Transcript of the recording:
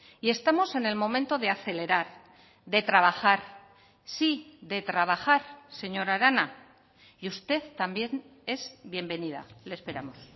y estamos en el momento de acelerar de trabajar sí de trabajar señora arana y usted también es bienvenida le esperamos